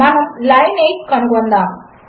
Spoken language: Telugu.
మనములైన్ 8 కనుగొందాము